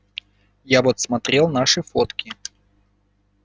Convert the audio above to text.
я вот смотрел наши фотки